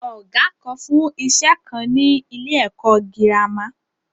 Ọ̀gá kan fún iṣẹ́ kan ni ni ilé ẹ̀kọ́ girama.